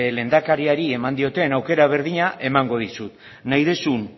lehendakariari eman dioten aukera berdina emango dizut nahi duzun